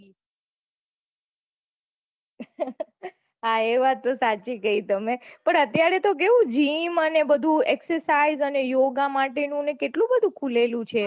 હા એ વાત તો સાચી કહી તમે પન અત્યારે તો કેવું gym અને બઘુ exercise અને yoga માટે નું ને કેટલું બઘુ ખૂલેલું છે